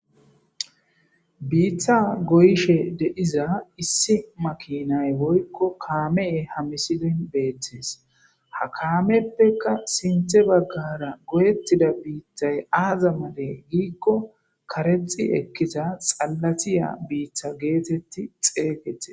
biitha goyshe deiza issi makinay boykko kaameye hamisidin beettes ha kaameppeka sinthe baggara goyettida biittay aaza male giikko karexi ekkiza xalatiya biitha geetetti xeeygettes